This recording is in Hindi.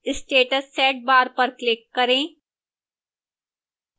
status set बार पर click करें